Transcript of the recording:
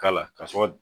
K'a la kasɔrɔ